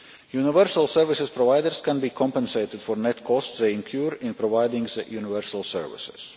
Universal service providers can be compensated for net costs they incur in providing universal services.